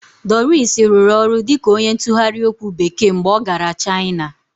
Doris rụrụ ọrụ dịka onye ntụgharị okwu Bekee mgbe ọ gara China